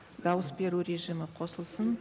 дауыс беру режимі қосылсын